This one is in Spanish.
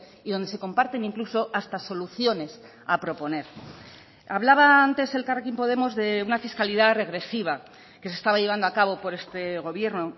y donde se comparten incluso hasta soluciones a proponer hablaba antes elkarrekin podemos de una fiscalidad regresiva que se estaba llevando a cabo por este gobierno